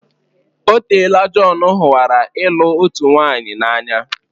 Otela Jon hụwara ịlụ otu nwaanyị n'anya.